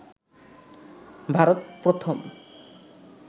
ভারত প্রথম